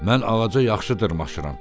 "Mən ağaca yaxşı dırmaşıram.